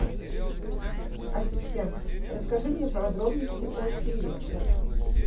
ассистент расскажи мне подробности о тире в отеле